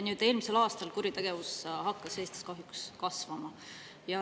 Eelmisel aastal hakkas kuritegevus Eestis kahjuks kasvama.